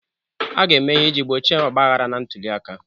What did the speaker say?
A ga-eme ihe iji gbochie ogbahara na ntuli aka.